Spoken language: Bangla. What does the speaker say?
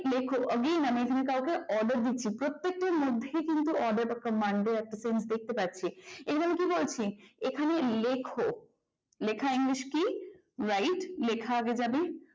লেখ again আমি এখানে কাউকে order দিচ্ছি প্রত্যেকটার মধ্যেই কিন্তু আমরা order বা command since দেখতে পাচ্ছি। এবং কি বলছি এখানে লেখো। লেখা english কি write লেখা আগে যাবে